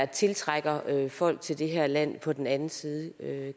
tiltrække folk til det her land på den anden side